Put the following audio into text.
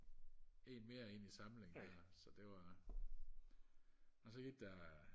en mere ind i samlingen der så det var og så gik der øh